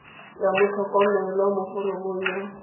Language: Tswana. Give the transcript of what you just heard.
ya motlhokomelwa mo foromong ya